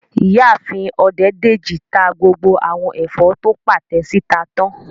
Ìyáàfin Ọdẹ́dèjì ta gbogbo àwọn ẹ̀fọ́ tó pàtẹ síta tán